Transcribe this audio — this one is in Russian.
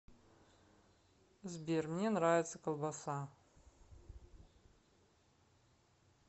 сбер мне нравится колбаса